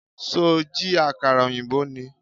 Ṣó jí àkàrà ọ̀yìnbó ni?